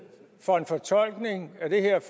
for en fortolkning af det her